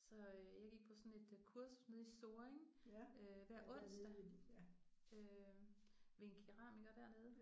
Så øh jeg gik på sådan et kursus nede i Sorring øh hver onsdag øh ved en keramiker dernede